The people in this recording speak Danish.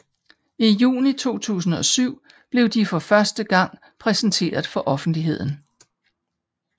I juni 2007 blev de for første gang præsenteret for offentligheden